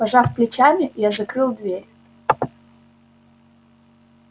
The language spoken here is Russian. пожав плечами я закрыл дверь